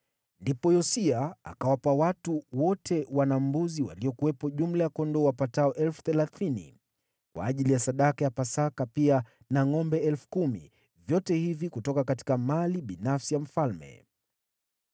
Ndipo Yosia akawapa watu wote wana-mbuzi waliokuwepo jumla ya kondoo wapatao 30,000 kwa ajili ya sadaka ya Pasaka, pia na ngʼombe 10,000, vyote hivi kutoka mali binafsi ya mfalme.